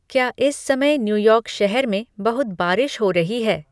क्या इस समय न्यु यॉर्क शहर में बहुत बारिश हो रही है